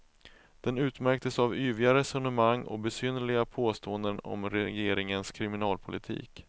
Den utmärktes av yviga resonemang och besynnerliga påståenden om regeringens kriminalpolitik.